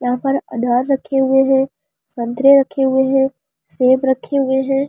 यहां पर अनार रखे हुए हैं संतरे रखे हुए हैं सेब रक्‍खे हुए हैं ।